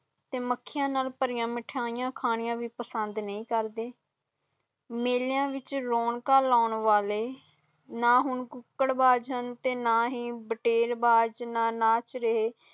ਤੇ ਮੱਖੀਆਂ ਨਾਲ ਭਰੀਆਂ ਮਿਠਾਈਆਂ ਖਾਣਾ ਵੀ ਪਸੰਦ ਨਯੀ ਕਰਦੇ, ਮੇਲਿਆਂ ਵਿਚ ਰੌਣਕਾਂ ਲੈਣ ਵਾਲ਼ੇ ਨਾ ਹੀ ਕੁੱਕੜ ਬਾਜ਼ ਨਾ ਹੀ ਬਟਰਵਾਜ਼ ਨਹੀਂ ਨਾਚ ਰਹੇ